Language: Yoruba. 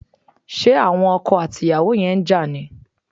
Ṣé àwon okò àti ìyàwó yen n ja ni?